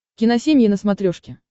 киносемья на смотрешке